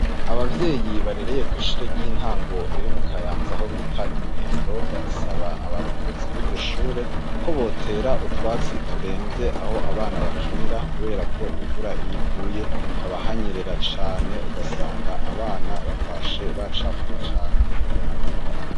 Ababyeyi barereye kw'ishure ry'intango riri mukayanza aho bita imwendo barasaba abarongozi b'iryoshure ko botera utwatsi turemvye aho abana bakinira kuberako imvura iyiguye haba hanyerera cane ugasanga abana batashe bacafuye cane.